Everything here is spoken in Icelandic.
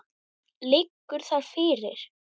Liggur það fyrir?